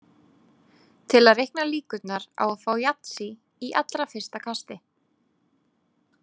Til að reikna líkurnar á að fá yatsý í allra fyrsta kasti.